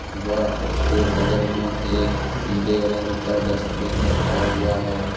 व उसके बगल में एक नीले रंग का डस्टबिन भी रखा हुआ है।